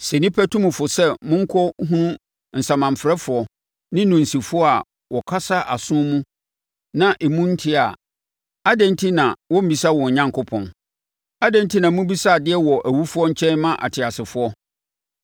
Sɛ nnipa tu mo fo sɛ monkɔ hunu asamanfrɛfoɔ ne nnunsifoɔ a wɔkasa aso mu na emu nteɛ a, adɛn enti na wɔmmmisa wɔn Onyankopɔn? Adɛn enti na mobisa adeɛ wɔ awufoɔ nkyɛn ma ateasefoɔ?